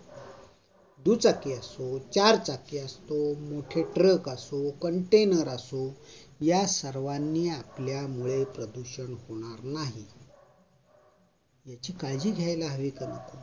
दुचाकी असो, चारचाकी असो, truck असो, मोठे container असो, या सर्वांनी आपल्यामुळे प्रदूषण होणार नाही याची काळजी घ्यायला हवी का नको?